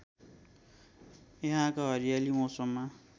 यहाँका हरियाली मौसममा